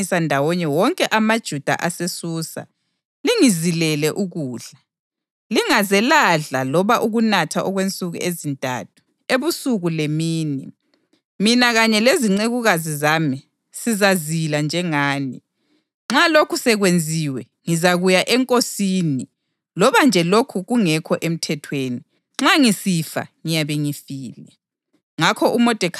“Hamba uyebuthanisa ndawonye wonke amaJuda aseSusa, lingizilele ukudla. Lingaze ladla loba ukunatha okwensuku ezintathu, ebusuku lemini. Mina kanye lezincekukazi zami sizazila njengani. Nxa lokhu sekwenziwe, ngizakuya enkosini loba nje lokho kungekho emthethweni. Nxa ngisifa, ngiyabe ngifile.”